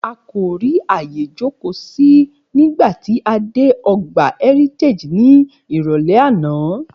A kò rí àyè jókòó sí nígbà tí a dé ọgbà Heritage ní ìrọ̀lẹ́ àná